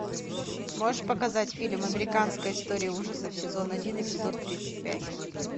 можешь показать фильм американская история ужасов сезон один эпизод тридцать пять